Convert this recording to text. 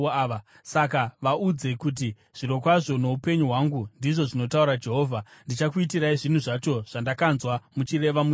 Saka vaudze kuti, ‘Zvirokwazvo noupenyu hwangu, ndizvo zvinotaura Jehovha, ndichakuitirai zvinhu zvacho zvandakanzwa muchireva muchiti: